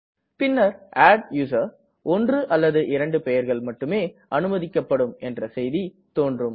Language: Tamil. பின்னர் adduser ஒன்று அல்லது இரண்டு பெயர்கள் மட்டுமே அனுமதிக்கப்படும் என்ற செய்தி தோன்றும